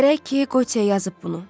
Gərək ki, Qotiyə yazıb bunu.